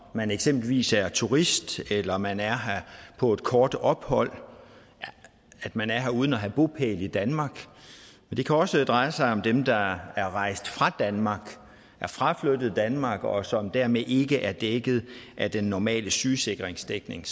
man eksempelvis er turist eller man er her på et kort ophold at man er her uden at have bopæl i danmark det kan også dreje sig om dem der er rejst fra danmark er fraflyttet danmark og som dermed ikke er dækket af den normale sygesikringsdækning